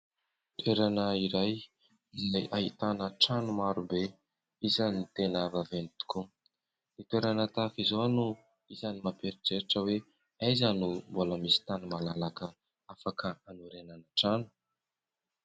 Toerana iray izay ahitana trano marobe isan'ny tena vaventy tokoa. Ny toerana tahaka izao no isan'ny mampieritreritra hoe aiza no mbola misy tany malalaka afaka hanorenana trano.